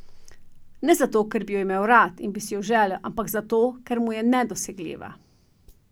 Ne zato, ker bi jo imel rad in bi si jo želel, ampak zato, ker mu je nedosegljiva.